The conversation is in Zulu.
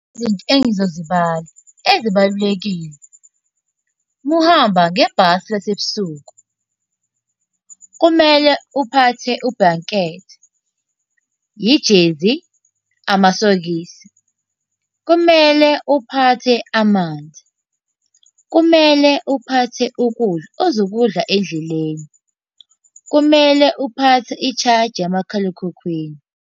Izinto engizozibala ezibalulekile. Uma uhamba ngebhasi lasebusuku, kumele uphathe ubhulankethi, ijezi, amasokisi. Kumele uphathe amanzi. Kumele uphathe ukudla ozokudla endleleni. Kumele uphathe i-charger yamakhalekhukhwini.